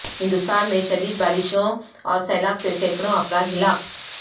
ہندوستان میں شدید بارشوں اور سیلاب سے سینکڑوں افراد ہلاک